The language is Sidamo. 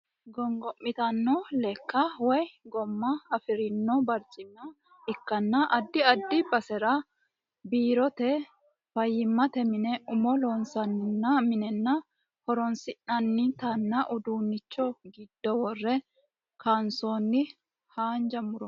Gongo'mitanno lekka woy gooma afirino barcima ikkanna addi addi basera biirote, fayyimmate mine, umo loosi'nanni mine ho'roonsi'nannitinna uduunnicho giddo worre kaansoonni haanja muro.